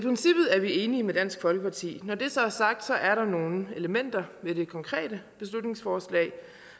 er vi enige med dansk folkeparti når det så er sagt er der nogle elementer i det konkrete beslutningsforslag